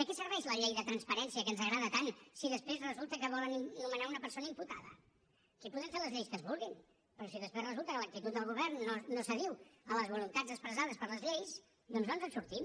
de què serveix la llei de transparència que ens agrada tant si després resulta que volen nomenar una persona imputada aquí podem fer les lleis que es vulguin però si després resulta que l’actitud del govern no s’adiu amb les voluntats expressades per les lleis doncs no ens en sortim